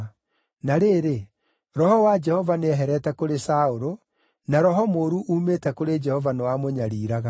Na rĩrĩ, Roho wa Jehova nĩeherete kũrĩ Saũlũ, na roho mũũru uumĩte kũrĩ Jehova nĩwamũnyariiraga.